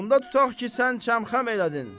Onda tutaq ki, sən çəm-xəm elədin.